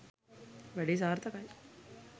වැඩේ සාර්ථකයි